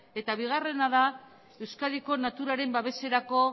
eta bigarrena da euskadiko naturaren babeserako